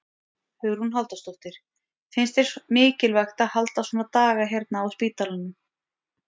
Hugrún Halldórsdóttir: Finnst þér mikilvægt að halda svona daga hérna á spítalanum?